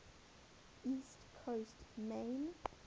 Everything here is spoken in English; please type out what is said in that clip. east coast maine